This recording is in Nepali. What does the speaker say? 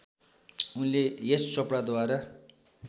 उनले यश चोपडाद्वारा